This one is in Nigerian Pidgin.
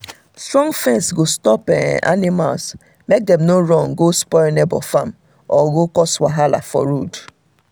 strong fence go stop um animals make dem no run go spoil neighbor farm or go cause wahala for um road um